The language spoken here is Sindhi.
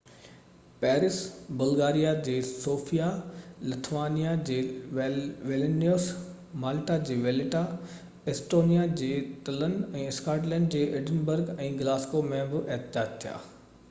پئرس بلغاريہ جي سوفيا لٿوانيا جي ولنيوس مالٽا جي وليٽا ايسٽونيا جي تلن ۽ اسڪاٽلينڊ جي ايڊنبرگ ۽ گلاسگو ۾ بہ احتجاج ٿيا